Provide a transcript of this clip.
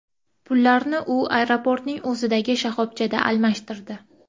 Pullarni u aeroportning o‘zidagi shoxobchada almashtirdi.